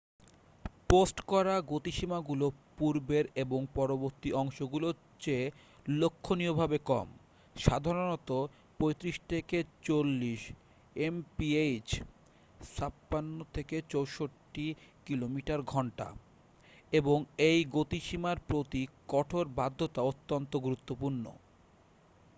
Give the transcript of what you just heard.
Post করা গতিসীমাগুলো পূর্বের এবং পরবর্তী অংশগুলোর চেয়ে লক্ষণীয়ভাবে কম - সাধারণত ৩৫-৪০ এমপিএইচ ৫৬-৬৪ কিমি/ঘন্টা - এবং এই গতিসীমার প্রতি কঠোর বাধ্যতা অত্যন্ত গুরুত্বপূর্ণ।